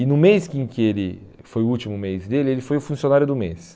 E no mês em que ele foi o último mês dele, ele foi o funcionário do mês.